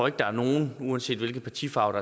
at der er nogen uanset hvilken partifarve